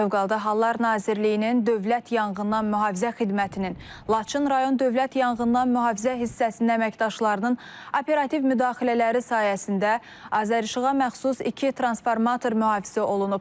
Fövqəladə Hallar Nazirliyinin Dövlət Yanğından Mühafizə Xidmətinin Laçın rayon Dövlət Yanğından Mühafizə hissəsi əməkdaşlarının operativ müdaxilələri sayəsində Azərişıqa məxsus iki transformator mühafizə olunub.